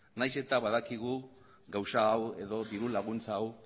nahiz eta badakigu gauza hau edo diru laguntza hau